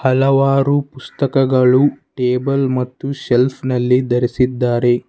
ಹಲವಾರು ಪುಸ್ತಕಗಳು ಟೇಬಲ್ ಮತ್ತು ಶೆಲ್ಫ್ನಲ್ಲಿ ಧರಿಸಿದ್ದಾರೆ.